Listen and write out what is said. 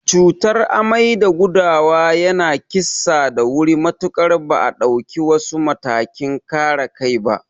Cutar amai da gudawa yana kissa da wuri matuƙar ba a dauki wasu matakin kare kai ba.